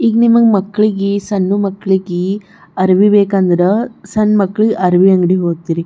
ಈಗ ನಿಮ್ಮಗ್ ಮಕ್ಕಳಿಗೆ ಸಣ್ಣು ಮಕ್ಕಳಿಗೆ ಅರವಿ ಬೇಕಂದ್ರ ಸಣ್ಣ ಮಕ್ಕಳು ಅರವಿ ಅಂಗಡಿಗ ಹೋಗತ್ತೀರಿ.